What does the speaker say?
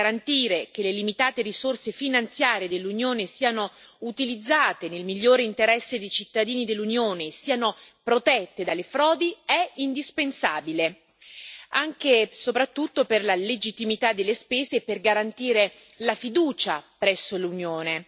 Garantire che le limitate risorse finanziarie dell'Unione siano utilizzate nel migliore interesse dei cittadini dell'Unione e siano protette dalle frodi, è indispensabile anche e soprattutto per la legittimità delle spese e per garantire la fiducia presso l'Unione.